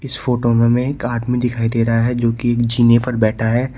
इस फोटो में हमें एक आदमी दिखाई दे रहा है जो कि जिने पर बैठा है।